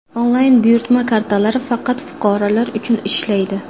Onlayn buyurtma kartalari faqat fuqarolar uchun ishlaydi.